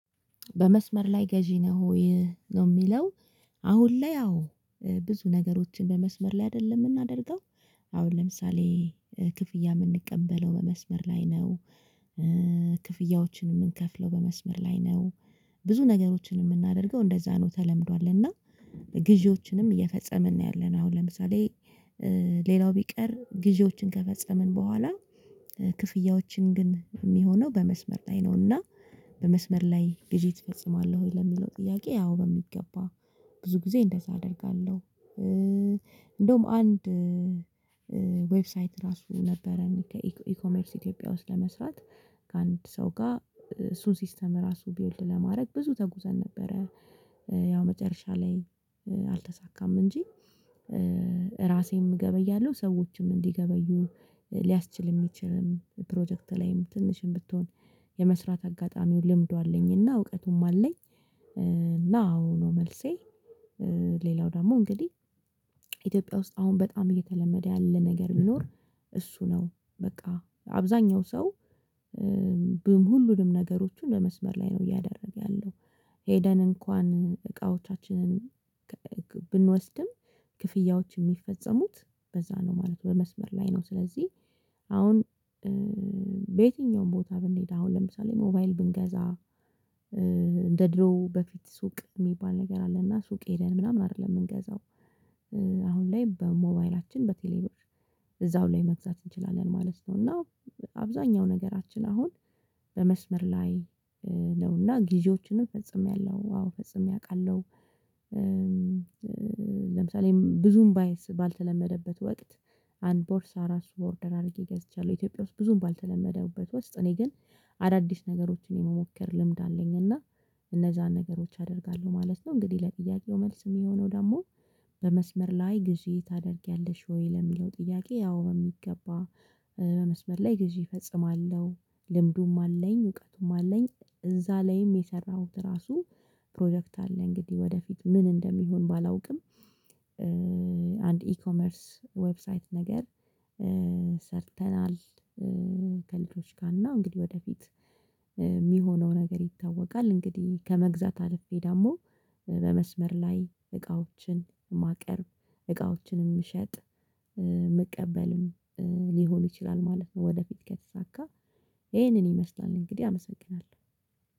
በመስመር ላይ ገዢ ነው ወይ ነው የሚለው? አሁን ላይ ያው ብዙ ነገሮችን በመስመር ላይ አይደለም የምናደርገው። አሁን ለምሳሌ ክፍያ የምንቀበለው በመስመር ላይ ነው—። ክፍያዎችን የምንከፍለው በመስመር ላይ ነው። ብዙ ነገሮችን የምናደርገው እንደዛ ነው ተለምዷል እና—። ግዢዎችንም እየፈጸምን ነው ያለነው አሁን ለምሳሌ ሌላው ቢቀር ግዢዎችን ከፈጸምን በኋላ ክፍያዎችን ግን የሚሆነው በመስመር ላይ ነው። እና— በመስመር ላይ ግዢ ትፈጽማለህ? ወይ ለሚለው ጥያቄ ያው በሚገባ ብዙ ጊዜ እንደዛ አደርጋለሁ። እንደውም አንድ ዌብሳይት ራሱ ነበረን ከኢኮመርስ ኢትዮጵያ ውስጥ ለመስራት ከአንድ ሰው ጋር እሱን ሲስተም ራሱ ቢውልድ ለማድረግ ብዙ ተጉዘን ነበረ። ያው መጨረሻ ላይ አልተሳካም። እንጂ ራሴም እገበያለሁ ሰዎችም እንዲገበዩ ሊያስችል የሚችል ፕሮጀክት ላይም ትንሽም ብትሆን የመስራት አጋጣሚውን ልምዱ አለኝ እና እውቀቱም አለኝ። እና አዎ ነው መልሴ። ሌላው ደግሞ እንግዲህ ኢትዮጵያ ውስጥ አሁን በጣም እየተለመደ ያለ ነገር ቢኖር እሱ ነው በቃ አብዛኛው ሰው ሁሉንም ነገሮችን ለመስመር ላይ ነው እያደረግ ያለው። ሄደን እንኳን እቃዎቻችንን ብንወስድም ክፍያዎች የሚፈጸሙት በዛ ነው ማለት ነው በመስመር ላይ ነው። ስለዚህ አሁን በየትኛውም ቦታ ብንሄድ አሁን ለምሳሌ ሞባይል ብንገዛ እንደ ድሮው በፊት ሱቅ የሚባል ነገር አለ እና ሱቅ ሄደን ምናምን አይደለም የምንገዛው። አሁን ላይ በሞባይላችን በቴሌብር እዛው ላይ መግዛት እንችላለን ማለት ነው። እና አብዛኛው ነገራችን አሁን በመስመር ላይ ነው እና ጊዢዎችንም ፈጽሜያለሁ አዎ ፈጽሜ አውቃለሁ። ለምሳሌም ብዙም ባየስ ባልተለመደበት ወቅት አንድ ቦርሳ አራሱ ኦርደር አድርጌ ገዝቻለሁ ኢትዮጵያ ውስጥ ብዙም ባልተለመደበት ውስጥ እኔ ግን—። አዳዲስ ነገሮችን የመሞከር ልምድ አለኝ እና እነዛን ነገሮች አደርጋለሁ ማለት ነው። እንግዲህ ለጥያቄው መልስ የሚሆነው ደግሞ በመስመር ላይ ጊዜ ታደርጊያለሽ ወይ ለሚለው ጥያቄ ያው በሚገባ። በመስመር ላይ ጊዜ እፈጽማለሁ ልምዱም አለኝ እውቀቱም አለኝ። እዛ ላይም የሰራሁት ራሱ ፕሮጀክት አለ። እንግዲህ ወደፊት ምን እንደሚሆን ባላውቅም—። አንድ ኢኮመርስ ዌብሳይት ነገር ሰርተናል። ከልጆች ጋር እና እንግዲህ ወደፊት የሚሆነው ነገር ይታወቃል። እንግዲህ ከመግዛት አልፌ ደግሞ በመስመር ላይ እቃዎችን ማቀርብ እቃዎችንም የምሸጥ— መቀበልም ሊሆን ይችላል ማለት ነው። ወደፊት ከተሳካ ይሄንን ይመስላል እንግዲህ አመሰግናለሁ።